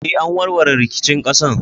Eh, an warware rikicin ƙasar.